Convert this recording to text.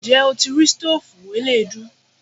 Ǹjẹ́ o ti rí stoofu eleedu?